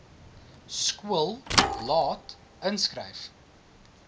skool laat inskryf